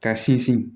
Ka sinsin